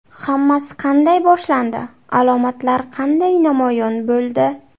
Hammasi qanday boshlandi, alomatlar qanday namoyon bo‘ldi?